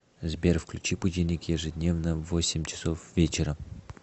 сбер включи будильник ежедневно в восемь часов вечера